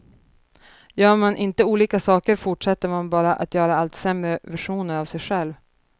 Gör man inte olika saker fortsätter man bara att göra allt sämre versioner av sig själv.